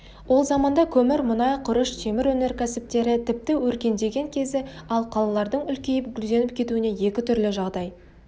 ол заманда көмір мұнай құрыш темір өнеркәсіптері тіпті өркендеген кезі ал қалалардың үлкейіп гүлденіп кетуіне екі түрлі жағдай